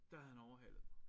Der havde han overhalet mig